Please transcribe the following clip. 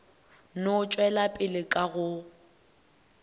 no tšwela pele ka go